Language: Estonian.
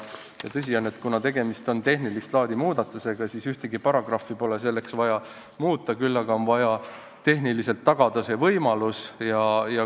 Tõsi on, et kuna tegemist on tehnilist laadi muudatusega, siis ühtegi paragrahvi pole selleks vaja muuta, küll aga on vaja see võimalus tehniliselt tagada.